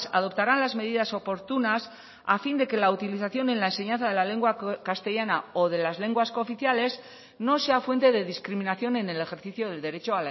adoptarán las medidas oportunas a fin de que la utilización en la enseñanza de la lengua castellana o de las lenguas cooficiales no sea fuente de discriminación en el ejercicio del derecho